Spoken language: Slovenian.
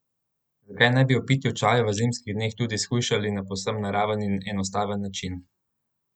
Zakaj ne bi ob pitju čaja v zimskih dneh tudi shujšali na povsem naraven in enostaven način?